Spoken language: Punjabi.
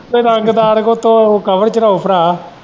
ਕੋਈ ਰੰਗਦਾਰ ਉਹਦੇ ਤੇ cover ਚੜਾਉ ਭਰਾ।